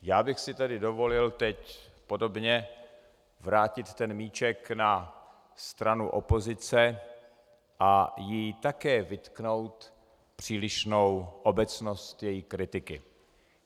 Já bych si tedy dovolil teď podobně vrátit ten míček na stranu opozice a jí také vytknout přílišnou obecnost její kritiky.